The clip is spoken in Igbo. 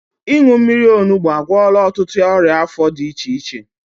Ịṅụ mmiri onugbu agwọla ọtụtụ ọrịa afọ dị iche iche